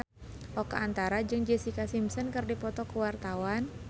Oka Antara jeung Jessica Simpson keur dipoto ku wartawan